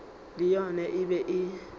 le yona e be e